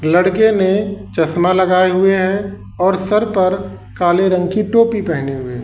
लड़के ने चश्मा लगाए हुए हैं और सर पर काले रंग की टोपी पहने हुए।